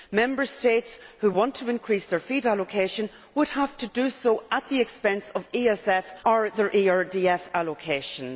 Member States who want to increase their FEAD allocation would have to do so at the expense of their ESF or ERDF allocations.